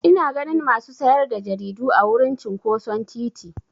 Ina ganin masu sayar da jaridu a wurin cinƙoson titi.